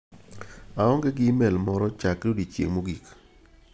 aong'e gi imel moro chakre odiochieng' mogik.